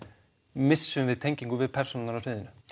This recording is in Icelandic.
missum við tengingu við persónurnar á sviðinu